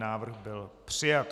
Návrh byl přijat.